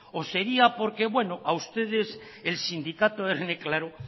o sería porque a ustedes el sindicato erne claro